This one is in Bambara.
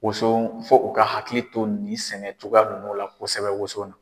Woson fɔ u ka hakili to ni sɛnɛ cogoya ninnu la kosɛbɛ woson na.